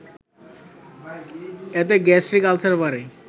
এতে gastric ulcer বাড়ে